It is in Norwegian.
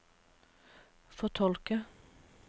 fortolke